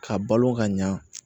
Ka balo ka ɲa